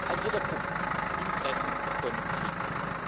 Ein vierter Punkt Interessenkonflikte.